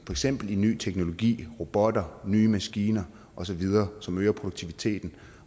eksempel i ny teknologi robotter nye maskiner osv som øger produktiviteten